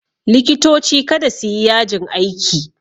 Likitoci kada su yi yajin aiki!